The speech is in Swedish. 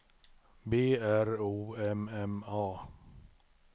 B R O M M A